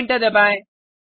और एंटर दबाएँ